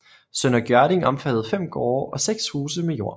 Sønder Gjørding omfattede 5 gårde og 6 huse med jord